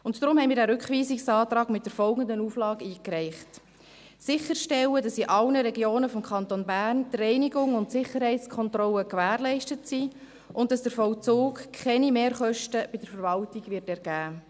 Deshalb haben wir den Rückweisungsantrag mit folgender Auflage eingereicht: sicherstellen, dass die Reinigung und die Sicherheitskontrollen in allen Regionen des Kantons Bern gewährleistet sind und dass der Vollzug keine Mehrkosten bei der Verwaltung ergeben wird.